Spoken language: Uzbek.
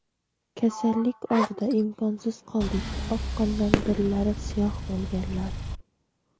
"Kasallik oldida imkonsiz qoldik" – oqqondan dillari siyoh bo‘lganlar.